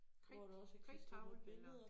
Kridt kridttavle eller